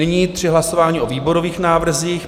Nyní tři hlasování o výborových návrzích.